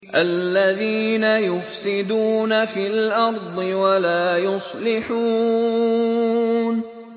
الَّذِينَ يُفْسِدُونَ فِي الْأَرْضِ وَلَا يُصْلِحُونَ